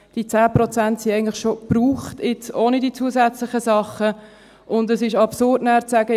Diese 10 Prozent sind eigentlich schon aufgebraucht, ohne die zusätzlichen Sachen, und es ist absurd, nachher zu sagen: